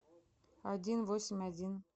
один восемь один